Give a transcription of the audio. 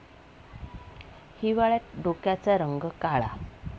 हिवाळ्यात डोक्याचा रंग काळा.